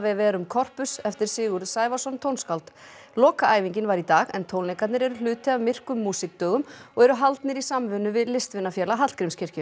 verum corpus eftir Sigurð Sævarsson tónskáld lokaæfingin var í dag en tónleikarnir eru hluti af myrkum músíkdögum og eru haldnir í samvinnu við listvinafélag Hallgrímskirkju